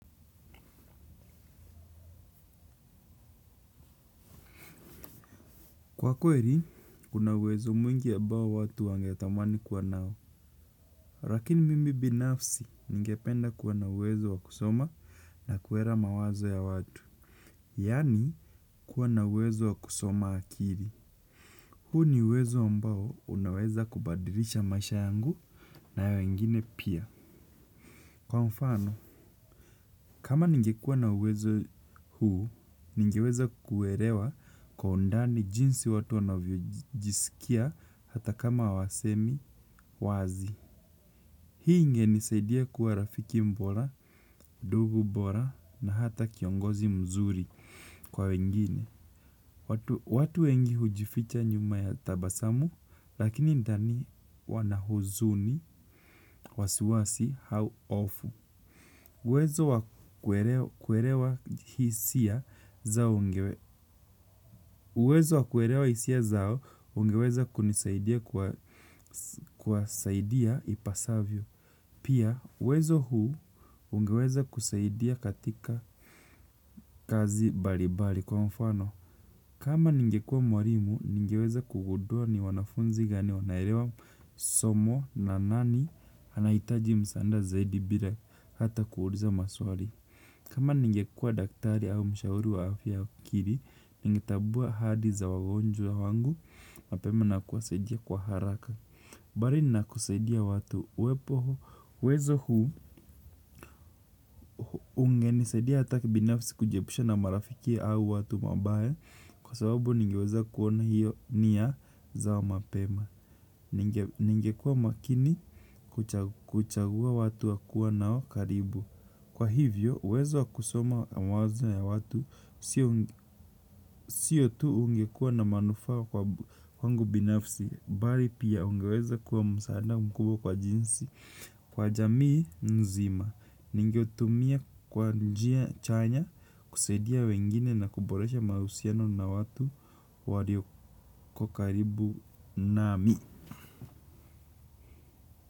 Kwa kweli kuna uwezo mwingi ambayo watu wangetamani kuwa nayo. Lakini mimi binafsi ningependa kuwa na uwezo wa kusoma na kuelewa mawazo ya watu. Yaani, kuwa na uwezo wa kusoma akili. Huu ni uwezo mbao unaweza kubadilisha maisha yangu na ya wengine pia. Kwa mfano, kama nigekuwa na uwezo huu, ningeweza kuelewa kwa undani jinsi watu wanavyo jisikia hata kama hawasemi wazi. Hii inge nisaidia kuwa rafiki bora, ndugu bora na hata kiongozi mzuri kwa wengine. Watu wengi hujificha nyuma ya tabasamu lakini ndani wana huzuni, wasiwasi, au hofu uwezo wa kuelewa hisia. Uwezo wa kuelewa hisia zao ungeweza kunisaidia kwa saidia ipasavyo. Pia, uwezo huu ungeweza kusaidia katika kazi mbalibali kwa mfano. Kama ningekuwa mwalimu, ningeweza kugundua ni wanafunzi gani wanaelewa somo na nani anahitaji msaada zaidi bila hata kuuliza maswali. Kama ninge kuwa daktari au mshauri wa afya ya akili, ninge tambua hali za wagonjwa wangu mapema na kuwasaidia kwa haraka. Mbali na kusaidia watu uepoho, wezo huu unge nisedia ataki binafsi kujepusha na marafiki au watu mabaye kwa sababu ningeweza kuona hiyo niya za mapema. Ninge kuwa makini kuchagua watu wa kuwa nao karibu. Kwa hivyo, uwezo wa kusoma mawazo ya watu siyo tu ungekuwa na manufaa kwangu binafsi bali pia ungeweza kuwa msaada mkuu kwa jinsi. Kwa jamii nzima ningetumia kwa njia chanya kusaidia wengine na kuboresha mahusiano na watu waliokokaribu nami.